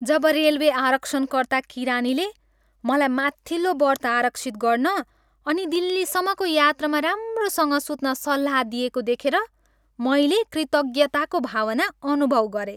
जब railway आरक्षणकर्ता किरानीले मलाई माथिल्लो बर्थ आरक्षित गर्न अनि दिल्लीसम्मको यात्रामा राम्रोसँग सुत्न सल्लाह दिएको देखेर मैले कृतज्ञताको भावना अनुभव गरेँ।